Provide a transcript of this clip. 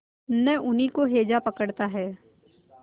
न उन्हीं को हैजा पकड़ता है